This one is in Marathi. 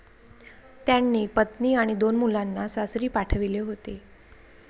त्यांनी पत्नी आणि दोन मुलांना सासरी पाठविले होते.